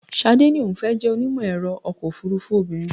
Ṣadé ní òun fẹ́ jẹ́ onímọ̀-ẹ̀rọ ọkọ̀ òfúrúfú obìnrin.